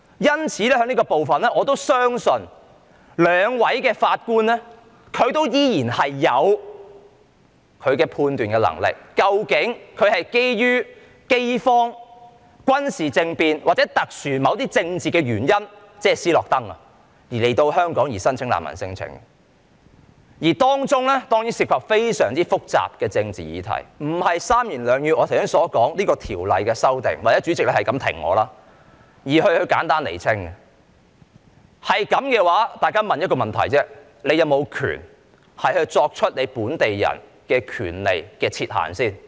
在這部分，我相信兩位法官依然有判斷的能力，究竟那些人是基於飢荒、軍事政變或某些特殊的政治原因來香港申請難民聲請，而當中當然涉及非常複雜的政治議題，不是我剛才三言兩語可以解釋清楚與《條例草案》的修訂有關的，或在主席不停打斷我的發言的情況下就可以簡單釐清的。